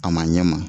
A ma ɲɛ ma